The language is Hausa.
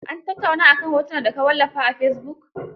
An tattauna a kan hoton da ka wallafa a fesibuk?